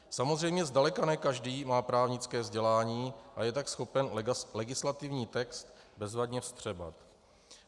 Samozřejmě zdaleka ne každý má právnické vzdělání a je tak schopen legislativní text bezvadně vstřebat.